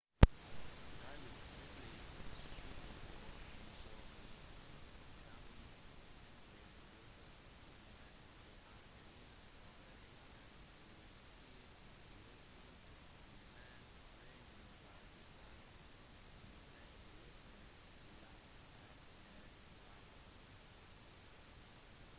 david headleys speider- og informasjonssamling hadde hjulpet til med å aktivere operasjonen til ti væpnede menn fra den pakistanske militærgruppen laskhar-e-taiba